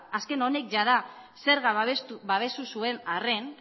azken honek jada zerga babestu zuen arren